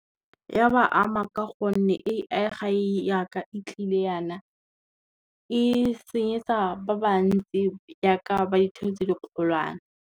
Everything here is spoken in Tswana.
Ya ba ama ka gonne A_I ja ka e tlile jana, e senyetsa ba ba ntsi ja ka ba ditheo tse di kgolwane.